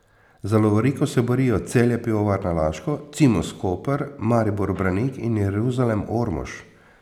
Za lovoriko se borijo Celje Pivovarna Laško, Cimos Koper, Maribor Branik in Jeruzalem Ormož.